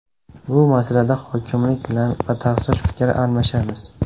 Bu masalada hokimlik bilan batafsil fikr almashamiz.